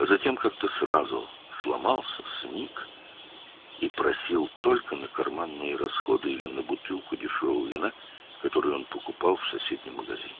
Sonra birdən qırıldı, sarsıldı və yalnız cib xərcləri və ya qonşu mağazadan aldığı ucuz şərab şüşəsi üçün pul istəyirdi.